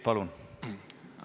Palun!